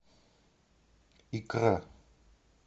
икра